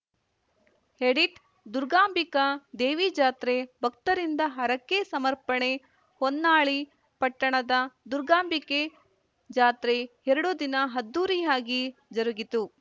edit Durgambika Devi ಜಾತ್ರೆ ಭಕ್ತರಿಂದ ಹರಕೆ ಸಮರ್ಪಣೆ ಹೊನ್ನಾಳಿ ಪಟ್ಟಣದ ದುರ್ಗಾಂಬಿಕೆ ಜಾತ್ರೆ ಎರಡು ದಿನ ಅದ್ದೂರಿಯಾಗಿ ಜರುಗಿತು